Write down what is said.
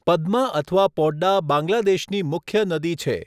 પદ્મા અથવા પોડ્ડા બાંગ્લાદેશની મુખ્ય નદી છે.